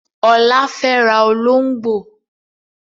Ọlá fẹ́ ra olóngbó